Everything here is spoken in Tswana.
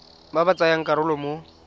ba ba tsayang karolo mo